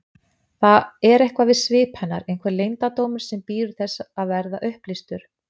Það er eitthvað við svip hennar, einhver leyndardómur sem bíður þess að verða upplýstur.